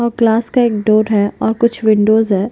और क्लास का एक डोर है और कुछ विंडोस है।